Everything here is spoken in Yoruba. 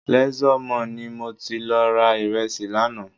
Leisure Mall ni mo ti lọ ra ìrẹsì lánàá